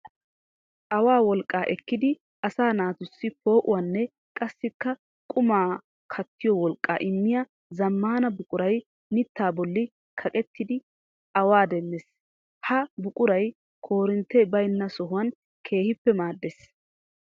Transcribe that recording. Awaa wolqqa ekkiddi asaa naatussi poo'uwanne qassikka qumma kattiyo wolqqa immiya zamaana buquray mitta bolli kaqettiddi awaa demees. Ha buquray koorintte baynna sohuwan keehippe maades.